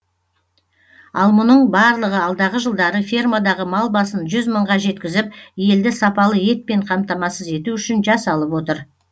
ал мұның барлығы алдағы жылдары фермадағы мал басын жүз мыңға жеткізіп елді сапалы етпен қамтамасыз ету үшін жасалып отыр